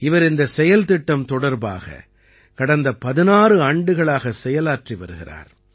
இவர் இந்தச் செயல்திட்டம் தொடர்பாக கடந்த 16 ஆண்டுகளாகச் செயலாற்றி வருகிறார்